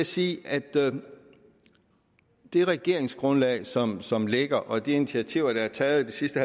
sige at det regeringsgrundlag som som ligger og de initiativer der er taget det sidste